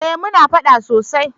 eh muna faɗa sosai